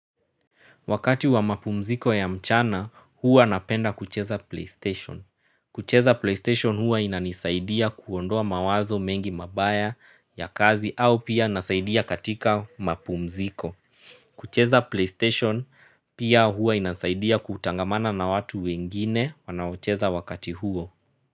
Wakati wa mapumziko ya mchana huwa napenda kucheza playstation. Kucheza playstation huwa inanisaidia kuondoa mawazo mengi mabaya ya kazi au pia nasaidia katika mapumziko. Kucheza playstation pia huwa inasaidia kutangamana na watu wengine wanaocheza wakati huo.